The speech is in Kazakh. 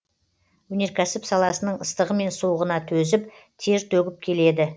өнеркәсіп саласының ыстығы мен суығына төзіп тер төгіп келеді